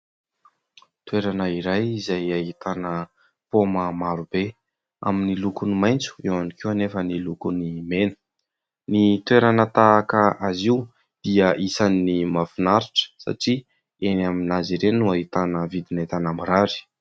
Toerana iray izay ahitana paoma maro be amin'ny lokony maitso, eo ihany koa nefa ny lokony mena. Ny toerana tahaka azy io dia isany mahafinaritra satria eny amin'azy ireny no ahitana vidin'entana mirary.